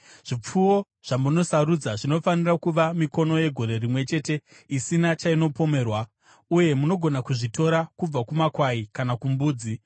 Zvipfuwo zvamunosarudza zvinofanira kuva mikono yegore rimwe chete isina chainopomerwa, uye munogona kuzvitora kubva kumakwai kana kumbudzi.